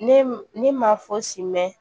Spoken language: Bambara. Ne ne ma fo simɛ